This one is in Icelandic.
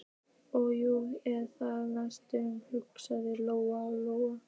Ó, nú er það næst, hugsaði Lóa Lóa.